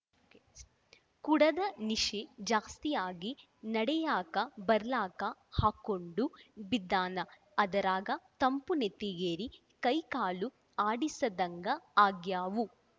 ಕುಡದ ನಿಶೆ ಜಾಸ್ತಿ ಆಗಿ ನಡೆಯಾಕ ಬರ್ಲಾರ್ಕ ಹಾಕ್ಕೊಂಡು ಬಿದ್ದಾನ ಅದರಾಗ ತಂಪು ನೆತ್ತಿಗೇರಿ ಕೈಕಾಲು ಆಡಿಸದ್ಹಂಗ ಆಗ್ಯಾವು